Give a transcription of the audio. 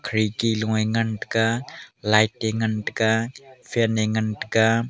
riki lo e ngan taiga light e ngan taiga fan e ngan taiga.